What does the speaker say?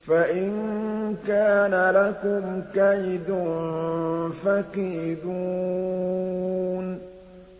فَإِن كَانَ لَكُمْ كَيْدٌ فَكِيدُونِ